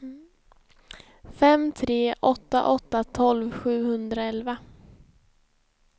fem tre åtta åtta tolv sjuhundraelva